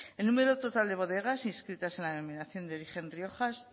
el número total de bodegas inscritas en la dominación de origen rioja